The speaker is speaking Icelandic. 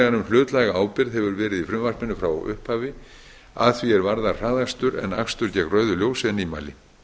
um hlutlæga ábyrgð hefur verið í frumvarpinu frá upphafi að því er varðar hraðakstur en akstur gegn rauðu ljósi er nýmæli